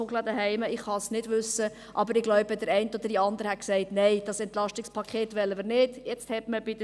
Immerhin habe ich bei der SVP, von Fritz Wyss, gehört, die